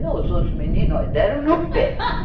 E os outros meninos, ó, deram no pé.